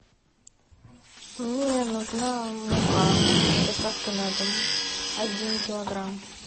мне нужна мука с доставкой на дом один килограмм